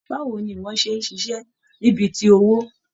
Báwo ní ìwọ̀n ṣe n ṣiṣẹ ni bí tí owó?